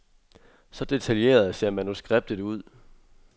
Så detaljeret ser manuskriptet ud.